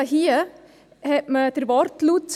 Hier hat man den Wortlaut: